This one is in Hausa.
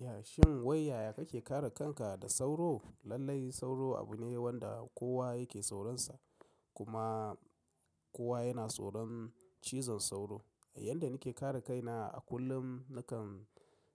Yashin wai yaya kake kare kanka da sauro? Lalai sauro abu ne wanda kowa yake tsoronsa kuma kowa yana tsoron cizon sauro. A yanda nake kare kaina a kullum nakan